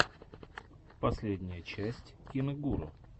последняя часть киногуру